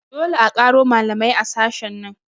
Dole a ƙaro malamai a sashen nan